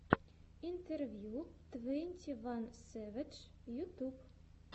интервью твенти ван сэвэдж ютьюб